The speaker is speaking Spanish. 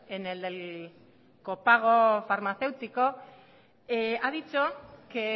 en el del copago farmaceútico ha dicho que